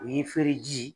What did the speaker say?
O ye fereji ye